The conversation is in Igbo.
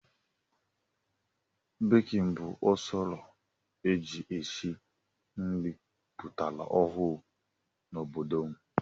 Bekin bụ usoro e ji esi nri pụtara ọhụrụ n'obodo m.